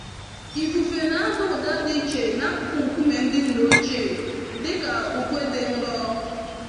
Ifufe nada ụda dị iche n'akụkụ nkume ndị nna ochie, dị ka ukwe dị nro.